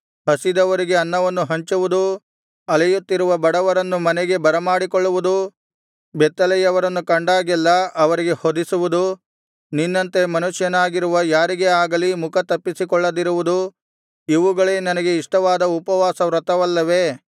ಹಸಿದವರಿಗೆ ಅನ್ನವನ್ನು ಹಂಚುವುದು ಅಲೆಯುತ್ತಿರುವ ಬಡವರನ್ನು ಮನೆಗೆ ಬರಮಾಡಿಕೊಳ್ಳುವುದು ಬೆತ್ತಲೆಯವರನ್ನು ಕಂಡಾಗೆಲ್ಲಾ ಅವರಿಗೆ ಹೊದಿಸುವುದು ನಿನ್ನಂತೆ ಮನುಷ್ಯನಾಗಿರುವ ಯಾರಿಗೇ ಆಗಲಿ ಮುಖತಪ್ಪಿಸಿಕೊಳ್ಳದಿರುವುದು ಇವುಗಳೇ ನನಗೆ ಇಷ್ಟವಾದ ಉಪವಾಸ ವ್ರತವಲ್ಲವೇ